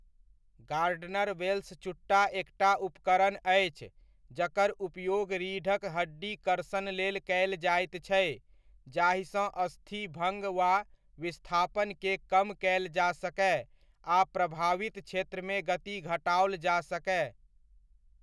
Gardener Wells चुट्टा एकटा उपकरण अछि जकर उपयोग रीढ़क हड्डी कर्षण लेल कयल जाइत छै जाहिसँ अस्थि भङ्ग वा विस्थापनके कम कयल जा सकय आ प्रभावित क्षेत्रमे गति घटाओल जा सकय।